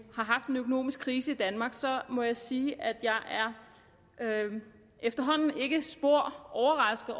har haft en økonomisk krise i danmark må jeg sige at jeg efterhånden ikke er spor overrasket